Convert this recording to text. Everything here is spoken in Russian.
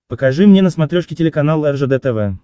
покажи мне на смотрешке телеканал ржд тв